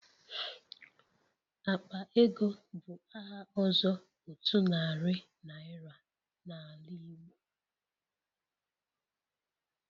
Akpa ego bụ aha ọzọ otu narị naira na ala Igbo.